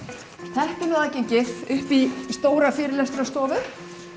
þetta er aðgengið inn í stóra fyrirlestrastofu upp